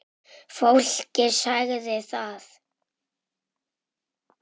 Fólkið sagði það.